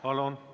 Palun!